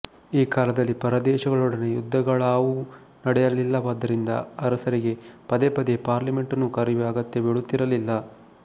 ಈ ಕಾಲದಲ್ಲಿ ಪರದೇಶಗಳೊಡನೆ ಯುದ್ಧಗಳಾವುವೂ ನಡೆಯಲಿಲ್ಲವಾದ್ದರಿಂದ ಅರಸರಿಗೆ ಪದೇ ಪದೇ ಪಾರ್ಲಿಮೆಂಟನ್ನು ಕರೆಯುವ ಅಗತ್ಯ ಬೀಳುತ್ತಿರಲಿಲ್ಲ